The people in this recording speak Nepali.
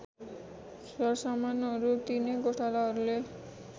सरसामानहरू तिनै गोठालाहरूले